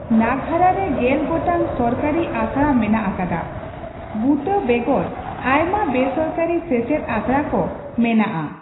ᱱᱟᱝᱜᱽᱨᱟᱦᱟ ᱨᱮ ᱜᱮᱞ ᱜᱚᱴᱟᱝ ᱥᱚᱨᱠᱟᱨᱤ ᱟᱥᱲᱟ ᱢᱮᱱᱟᱜ ᱟᱠᱟᱫᱟ ᱾ ᱵᱩᱛᱟ. ᱵᱮᱜᱚᱨ ᱟᱭᱢᱟ ᱵᱮᱥᱚᱨᱠᱟᱨᱤ ᱥᱮᱪᱮᱫ ᱟᱥᱲᱟ ᱠᱚ ᱢᱮᱱᱟᱜ ᱟ ᱾